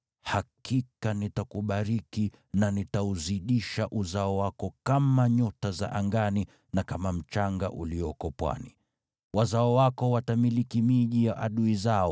hakika nitakubariki, na nitauzidisha uzao wako kama nyota za angani na kama mchanga ulioko pwani. Wazao wako watamiliki miji ya adui zao,